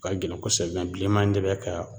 O ka gɛlɛn kosɛbɛ mɛ bileman in de bɛ ka